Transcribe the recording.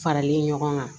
Farali ɲɔgɔn kan